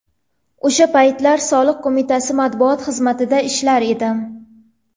O‘sha paytlar Soliq qo‘mitasi matbuot xizmatida ishlar edim.